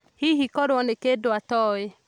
Hihi kũrĩo na kĩndũatoĩ?